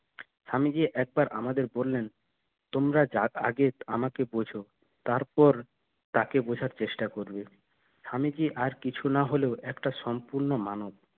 স্বামীজি একবার আমাদের বললেন তোমরা যা আমাকে বুঝ তারপর তাকে বুঝার চেষ্টা করবে স্বামীজির আর কিছু না হলেও একটা সম্পন্ন মানব